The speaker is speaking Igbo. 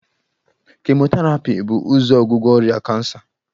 Kemoterapi bu ụzọ ọgwụgwọ ọrịa kansa